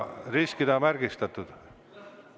Ristiga märgistatakse.